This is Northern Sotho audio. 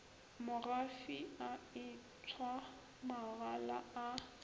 mogafi a etshwa magala a